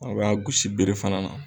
A ba gosi beere fana na.